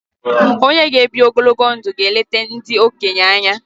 Onye g'ebi ogologo ndu ga eleta ndị okenye anya.